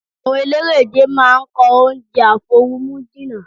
Àwọn eléré-ìje máa ń kọ oúnjẹ àfoorumújinná.